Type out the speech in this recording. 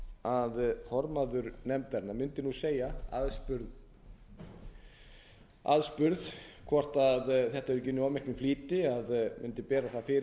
að formaður nefndarinnar mundi nú segja aðspurð hvort þetta hafi ekki verið unnið í of miklum flýti að hún mundi bera það fyrir sig að það væri ekki annar